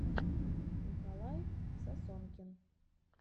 николай сосонкин